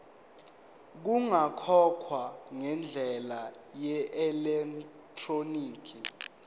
kungakhokhwa ngendlela yeelektroniki